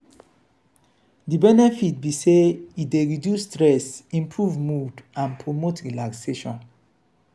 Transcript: wetin be di benefit of spending um time um in nature for your mood?